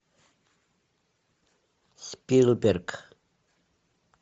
спилберг